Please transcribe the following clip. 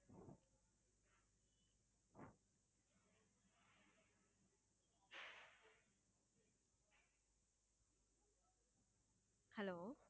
hello